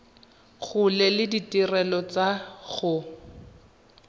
gola le ditirelo tsa go